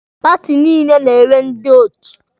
Paati niile na-enwe ndị otu.